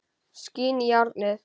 Skín í járnið.